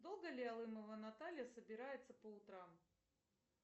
долго ли алымова наталья собирается по утрам